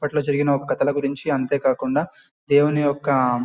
అప్పట్లో జరిగిన ఒక కథల గురించి అంతే కాకుండా దేవుని యొక్క--